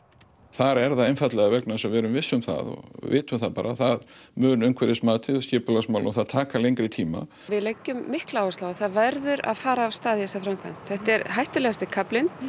þar er það einfaldlega vegna þess að við erum viss um það og vitum það bara það mun umhverfismatið skipulagsmál að það taki lengri tíma við leggjum mikla áherslu á að það verður að fara af stað í þessa framkvæmd þetta er hættulegasti kaflinn